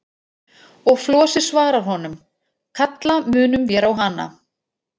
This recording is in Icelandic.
Og Flosi svarar honum: Kalla munum vér á hana.